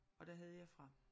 Og der havde jeg fra